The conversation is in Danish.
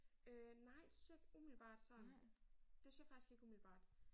Øh nej det synes jeg ikke umiddelbart sådan. Det synes jeg faktisk ikke umiddelbart